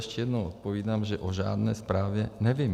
Ještě jednou odpovídám, že o žádné zprávě nevím.